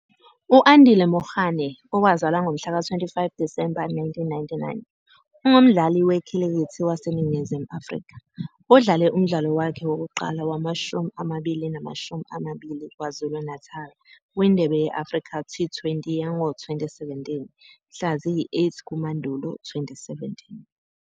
U-Andile Mokgakane, owazalwa ngomhlaka 25 Disemba 1999, ungumdlali wekhilikithi waseNingizimu Afrika. Udlale umdlalo wakhe wokuqala wamashumi amabili namashumi amabili waKwaZulu-Natal kwiNdebe ye-Africa T20 yango -2017 mhla ziyi-8 kuMandulo 2017.